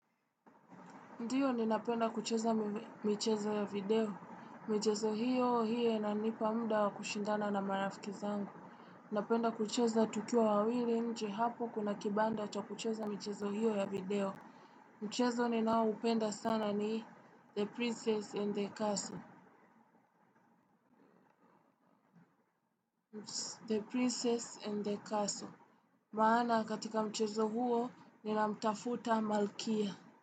Ndiyo ni napenda kucheza michezo ya video, michezo hiyo hiyo inanipa mda wa kushindana na marafiki zangu. Napenda kucheza tukiwa wawili nje hapo kuna kibanda cha kucheza michezo hiyo ya video. Mchezo ni nao upenda sana ni the princess in the castle The princess in the castle. Maana katika mchezo huo nina mtafuta malkia.